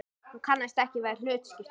Hún kannaðist ekki við annað hlutskipti.